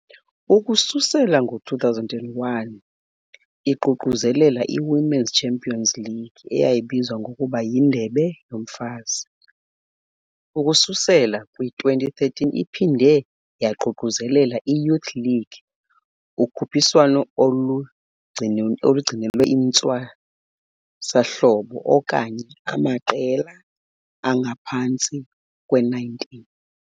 Ukususela ngo-2001, iququzelele i-Women's Champions League, eyayibizwa ngokuba yiNdebe yoMfazi. Ukususela kwi-2013 iphinde yaququzelela i-Youth League, ukhuphiswano olugcinelwe intwasahlobo okanye amaqela angaphantsi kwe-19.